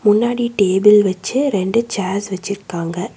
முன்னாடி டேபிள் வெச்சி ரெண்டு சேர்ஸ் வெச்சிர்க்காங்க.